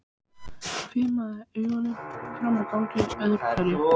Hvimaði augunum fram á ganginn öðru hverju.